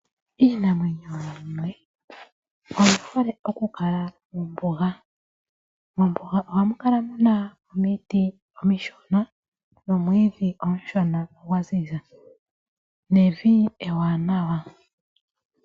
Iinamwenyo oyi hole oku kala mombuga. Mombuga ohamu kala muna omiti omishona momwiidhi omushona gwa ziza nevi ewanawa.